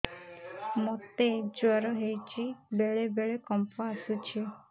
ମୋତେ ଜ୍ୱର ହେଇଚି ବେଳେ ବେଳେ କମ୍ପ ଆସୁଛି